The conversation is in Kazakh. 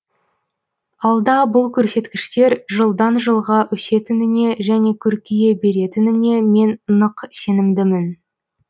алда бұл көрсеткіштер жылдан жылға өсетініне және көркейе беретініне мен нық сенімдімін